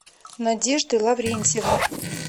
надежды лаврентьевны